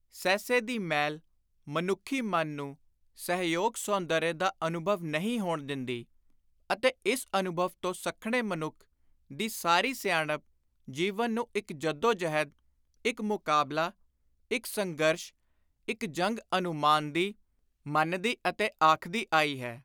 ਸਹਿਸੇ ਦੀ ਮੈਲ ਮਨੁੱਖੀ ਮਨ ਨੂੰ ਸਹਿਯੋਗ-ਸੌਂਦਰਯ ਦਾ ਅਨੁਭਵ ਨਹੀਂ ਹੋਣ ਦਿੰਦੀ ਅਤੇ ਇਸ ਅਨੁਭਵ ਤੋਂ ਸੱਖਣੇ ਮਨੁੱਖ ਦੀ ਸਾਰੀ ਸਿਆਣਪ ਜੀਵਨ ਨੂੰ ਇਕ ਜੱਦੋ-ਜਹਿਦ, ਇਕ ਮੁਕਾਬਲਾ, ਇਕ ਸੰਘਰਸ਼, ਇਕ ਜੰਗ ਅਨੁਮਾਨਦੀ, ਮੰਨਦੀ ਅਤੇ ਆਖਦੀ ਆਈ ਹੈ।